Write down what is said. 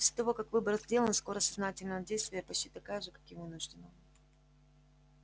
после того как выбор сделан скорость сознательного действия почти такая же как и вынужденного